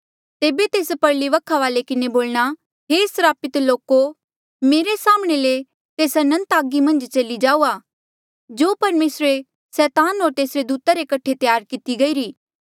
तेबे तेस परली वखा वाली किन्हें बोलणा हे स्रापित लोको मेरे साम्हणें ले तेस अनंत आगा मन्झ चली जाऊआ जो परमेसरे सैतान होर तेसरे दूता रे कठे त्यार किती गईरी